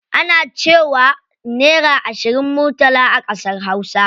Ana cewa naira ashirin murtala a ƙasar hausa.